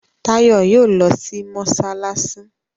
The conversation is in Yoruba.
Tayo yíò lọ sì masalasi.